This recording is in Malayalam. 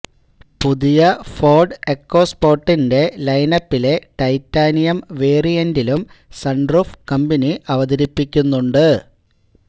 പുതിയ ഫോര്ഡ് എക്കോസ്പോര്ട്ടിന്റെ ലൈനപ്പിലെ ടൈറ്റാനിയം വേരിയന്റിലും സണ്റൂഫ് കമ്പനി അവതരിപ്പിക്കുന്നുണ്ട്